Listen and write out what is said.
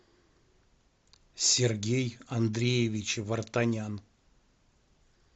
сергей андреевич вартанян